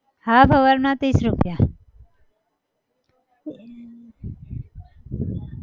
half hour ના ત્રીસ રૂપિયા